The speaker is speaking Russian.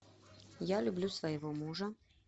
я люблю своего мужа